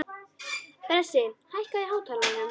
Bresi, hækkaðu í hátalaranum.